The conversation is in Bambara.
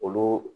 Olu